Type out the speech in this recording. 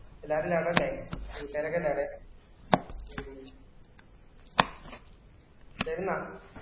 എല്ലാരും ആടല്ലേ കൂട്ടുകാരൊക്കെ ഉണ്ടോആടെ വരുന്നോ